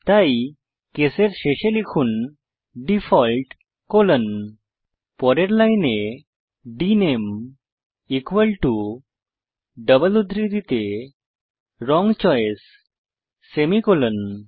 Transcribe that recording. তাই কেস এর শেষে লিখুন ডিফল্ট কোলন পরের লাইনে ডিএনএমই ইকুয়াল টো ডাবল উদ্ধৃতিতে রং চয়েস সেমিকোলন